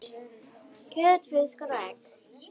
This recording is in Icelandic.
kjöt, fiskur og egg